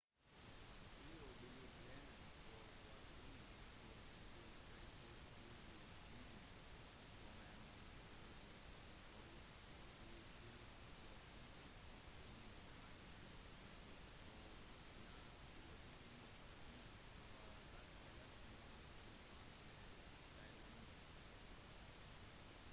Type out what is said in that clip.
i år ble planene for vaksiner som skal fraktes til de stedene som er mest berørt historisk sett forsinket grunnet manglende midler og lav prioritering i relasjon til andre sykdommer